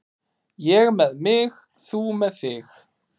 Ég með mig, þú með þig.